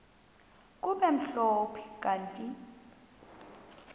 kube mhlophe kanti